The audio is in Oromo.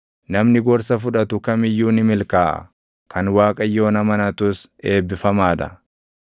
Namni gorsa fudhatu kam iyyuu ni milkaaʼa; kan Waaqayyoon amanatus eebbifamaa dha.